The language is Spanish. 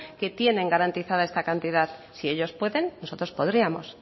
que tienen garantizada esta cantidad si ellos pueden nosotros podríamos